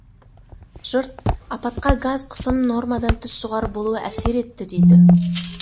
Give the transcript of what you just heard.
жұрт апатқа газ қысымының нормадан тыс жоғары болуы әсер етті дейді